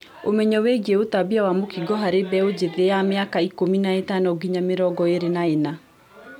Ũmenyo wĩgiĩ ũtambia wa mũkingo harĩ mbeũ njĩthĩ ya mĩaka ikũmi na ĩtano nginya mĩrongo ĩĩrĩ na ĩna